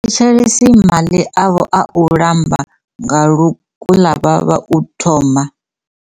Tshifhinga tshoḽhe vha thetshelese maḽi avho a u ḽamba nga lukuḽavhavha u thoma.